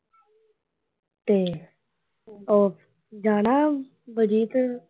ਤੇ ਉਹ ਜਾਣਾ ਬਲਜੀਤ।